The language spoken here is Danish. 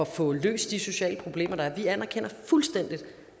få løst de sociale problemer der er vi anerkender fuldstændig